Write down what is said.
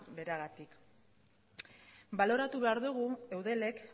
beragatik baloratu behar dugu eudelek